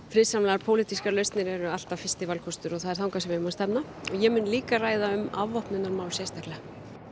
friðsamlegar pólitískar lausnir eru alltaf fyrsti valkostur og það er þangað sem sem við eigum að stefna og ég mun líka ræða um afvopnunarmál sérstaklega